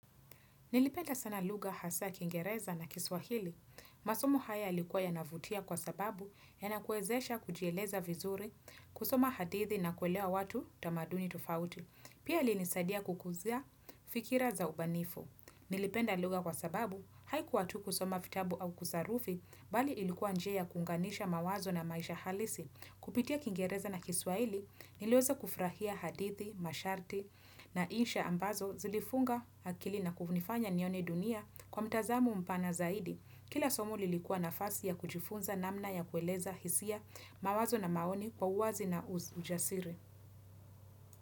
Nilipenda sana lugha hasaa kiingereza na kiswahili. Masomo haya yalikuwa yanavutia kwa sababu yanakuwezesha kujieleza vizuri, kusoma hadithi na kuelewa watu tamaduni tofauti. Pia ilinisadia kukuzia fikira za ubanifu. Nilipenda lugha kwa sababu haikuwa tu kusoma vitabu au kusarufi bali ilikuwa njia ya kuunganisha mawazo na maisha halisi. Kupitia kingereza na kiswaili niliweza kufurahia hadithi, masharti na insha ambazo zilifunga akili na kunifanya nione dunia kwa mtazamo mpana zaidi. Kila somo lilikuwa nafasi ya kujifunza namna ya kueleza hisia mawazo na maoni kwa uwazi na ujasiri.